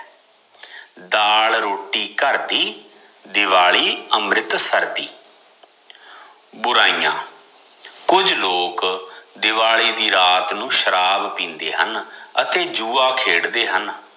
ਦਾਲ ਰੋਟੀ ਘਰ ਦੀ ਦਿਵਾਲੀ ਅਮ੍ਰਿਤਸਰ ਦੀ ਬੁਰਾਇਆ ਕੁਝ ਲੋਕ ਦਿਵਾਲੀ ਦੀ ਰਾਤ ਨੂੰ ਸ਼ਰਾਬ ਪੀਂਦੇ ਹਨ ਅਤੇ ਜੂਆ ਖੇਡਦੇ ਹਨ